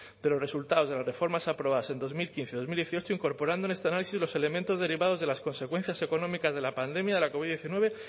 de los resultados de las reformas aprobadas en dos mil quince y dos mil dieciocho incorporando en este análisis los elementos derivados de las consecuencias económicas de la pandemia de la covid diecinueve